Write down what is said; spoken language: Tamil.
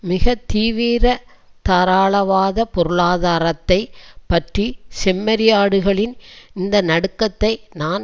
மிக தீவீர தாராளவாத பொருளாதாரத்தை பற்றி செம்மறியாடுகளின் இந்த நடுக்கத்தை நான்